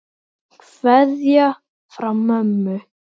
Kveðja frá mömmu.